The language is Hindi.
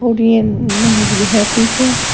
तीन नहर भी है पीछे।